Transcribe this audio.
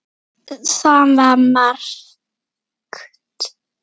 Það var margt.